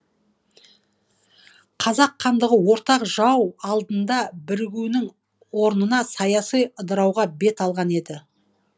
қазақ хандығы ортақ жау алдында бірігуінің орнына саяси ыдырауға бет алған еді